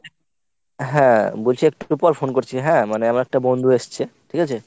হ্যাঁ বলছি একটুপর phone করছি হ্যাঁ আমার একটা বন্ধু এসছে ঠিক আছে?